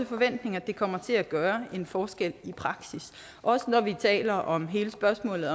forventning at det kommer til at gøre en forskel i praksis også når vi taler om hele spørgsmålet